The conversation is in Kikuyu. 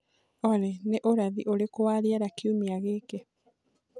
olly ni ũrathi ũrĩkũ wa rĩera kĩumĩa giki